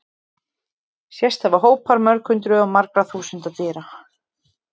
Sést hafa hópar mörg hundruð og jafnvel þúsunda dýra.